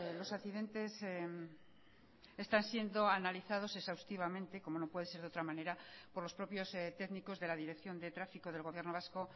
los accidentes están siendo analizados exhaustivamente como no puede ser de otra manera por los propios técnicos de la dirección de tráfico del gobierno vasco